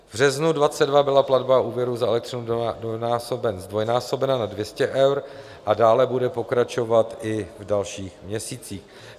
V březnu 2022 byla platba úvěru za elektřinu zdvojnásobena na 200 eur a dále bude pokračovat i v dalších měsících.